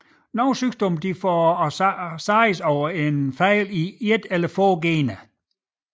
Nogle sygdomme forårsages af fejl i et eller få gener